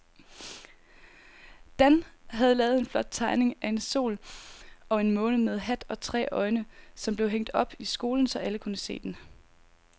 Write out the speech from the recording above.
Dan havde lavet en flot tegning af en sol og en måne med hat og tre øjne, som blev hængt op i skolen, så alle kunne se den.